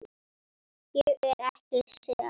Ég er ekki sek.